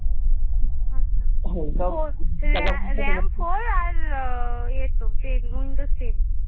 আচ্ছা RAM four আর আহ ইয়ে তো ten windows ten